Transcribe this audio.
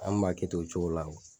An nu m'a kɛ ten o cogo kuwa